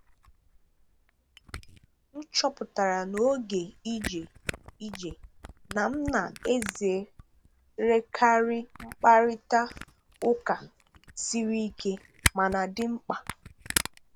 M chọpụtara n’oge ije ije na m na-ezerekarị mkparịta ụka siri ike mana dị mkpa.